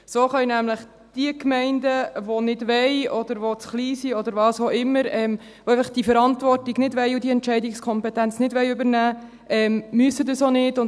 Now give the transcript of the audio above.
So müssen nämlich jene Gemeinden, die zu klein sind oder diese Verantwortungs- und Entscheidungskompetenz sonst nicht übernehmen wollen, dies nicht tun.